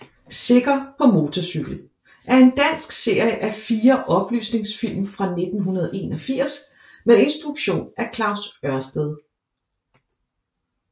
Sikker på motorcykel er en dansk serie af fire oplysningsfilm fra 1981 med instruktion af Claus Ørsted